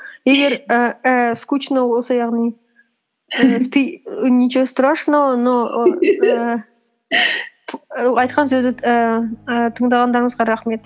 егер ііі скучно болса яғни і ничего страшного но ііі айтқан сөзі ііі тыңдағандарыңызға рахмет